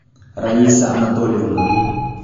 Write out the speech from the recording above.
раиса анатольевна